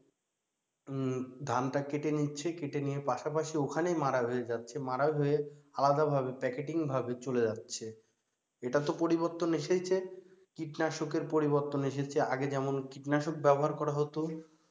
ধানটা কেটে নিচ্ছে কেটে নিয়ে পাশাপাশি ওখানেই মাড়াই হয়ে যাচ্ছে, মাড়াই হয়ে আলাদা ভাবে packeting ভাবে চলে যাচ্ছে। এটা তো পরিবর্তন এসেইছে, কীটনাশকের পরিবর্তন এসেছে, আগে যেমন কীটনাশক ব্যবহার করা হতো,